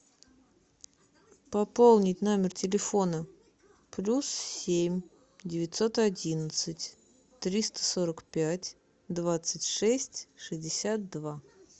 пополнить номер телефона плюс семь девятьсот одиннадцать триста сорок пять двадцать шесть шестьдесят два